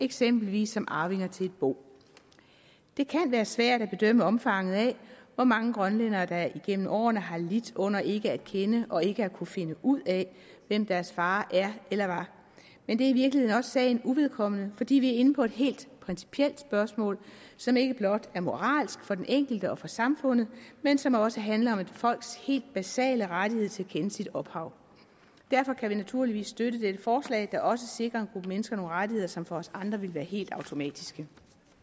eksempelvis som arvinger til et bo det kan være svært at bedømme omfanget af hvor mange grønlændere der igennem årene har lidt under ikke at kende deres og ikke at kunne finde ud af hvem deres far er eller var men det er i virkeligheden også sagen uvedkommende fordi vi er inde på et helt principielt spørgsmål som ikke blot er moralsk for den enkelte og for samfundet men som også handler om et folks helt basale rettighed til at kende sit ophav derfor kan vi naturligvis støtte dette forslag der også sikrer en gruppe mennesker nogle rettigheder som for os andre ville være helt automatiske